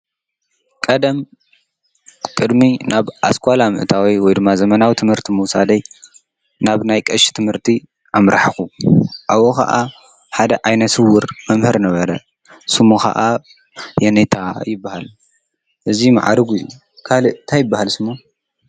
ቀደም ቅድሚ ናብ ኣስቋላ ምእታወይ ወይ ድማ ዘመናዊ ትምህርቲ መውሣደይ ናብ ናይ ቀሽ ትምህርቲ ኣምራሕኹ ኣብ ኸዓ ሓደ ኣይነስውር መምህር ነበረ ስሙ ኸዓ የነታ ይበሃል። እዙይ መዓሪጉ እዩ ካል እታ ይበሃል ስሙ?